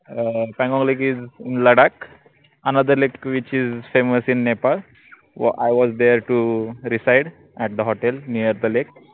uh Pangong lakeisin Ladakh anotherlakewhichissamewasin Nepal Iwastheretoresideatthehotelnearthelake